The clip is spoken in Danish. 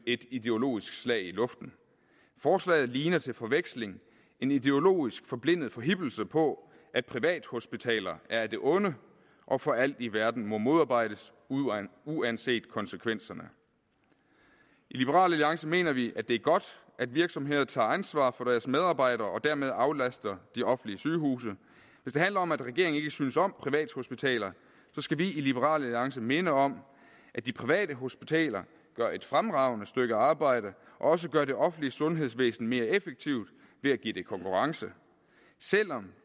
et ideologisk slag i luften forslaget ligner til forveksling en ideologisk forblindet forhippelse på at privathospitaler er af det onde og for alt i verden må modarbejdes uanset konsekvenserne i liberal alliance mener vi at det er godt at virksomheder tager ansvar for deres medarbejdere og dermed aflaster de offentlige sygehuse hvis det handler om at regeringen ikke synes om privathospitaler så skal vi i liberal alliance minde om at de private hospitaler gør et fremragende stykke arbejde og også gør det offentlige sundhedsvæsen mere effektivt ved at give det konkurrence selv om